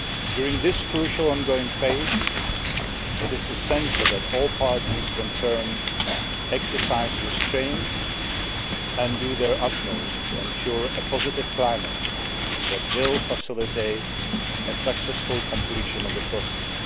During this crucial ongoing phase it is essential that all parties concerned exercise restraint and do their utmost to ensure a positive climate that will facilitate successful completion of the process.